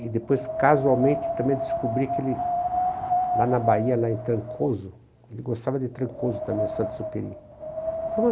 E depois, casualmente, também descobri que ele, lá na Bahia, lá em Trancoso, ele gostava de Trancoso também, Saint-Exupéry..